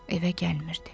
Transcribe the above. Evə gəlmirdi.